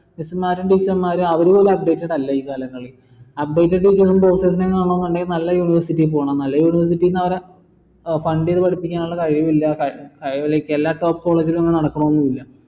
miss മാരും teacher മാരും അവര് പോലും അല്ല ഈ കാലങ്ങളിൽ നല്ല university പോണം നല്ല university അവിടെ ഏർ fund ചെയ്ത് പഠിപ്പിക്കാനുള്ള കഴിവില്ല അതുപോലെ എല്ലാ top college ൽ ഇങ്ങനെ നടക്കണോന്ന് ഇല്ല